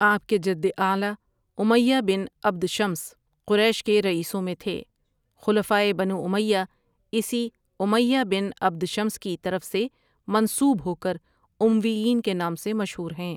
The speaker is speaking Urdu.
آپ کے جد اعلیٰ امیہ بن عبد شمس قریش کے رئیسوں میں تھے، خلفائے بنو امیہ اسی امیہ بن عبد شمس کی طرف سے منسوب ہوکر امویین کے نام سے مشہور ہیں۔